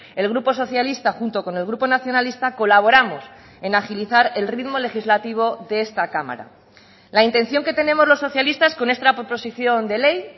el grupo socialista junto con el grupo nacionalista colaboramos en agilizar el ritmo legislativo de esta cámara la intención que tenemos los socialistas con esta proposición de ley